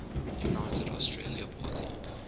united australia party